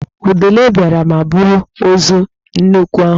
Udele biara ma buru ozu nnekwu ahụ.